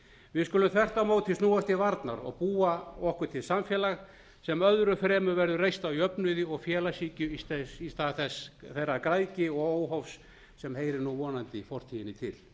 við skulum þvert á móti snúast til varnar og búa okkur til samfélag sem öðru fremur verður reist á jöfnuði og félagshyggju í stað þeirrar græðgi og óhófs sem heyrir nú vonandi fortíðinni til